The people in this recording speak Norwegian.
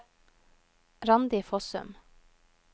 Randi Fossum